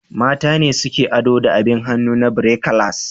Mata ne suke ado da abin hannu na birekilas.